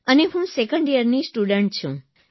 અને હું સેકન્ડ યરની સ્ટુડન્ટ છું